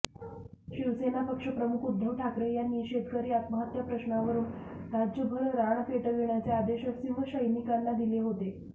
शिवसेना पक्षप्रमुख उद्धव ठाकरे यांनी शेतकरी आत्महत्या प्रश्नावरून राज्यभर रान पेटविण्याचे आदेश शिवसैनिकांना दिले होते